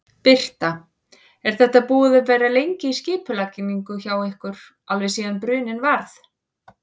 Birta: Er þetta búið að vera lengi í skipulagningu hjá ykkur, alveg síðan bruninn varð?